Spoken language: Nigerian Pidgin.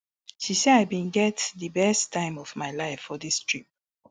she say i bin get di best time of my life for dis trip